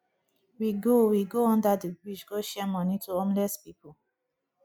we go we go under the bridge go share money to homeless people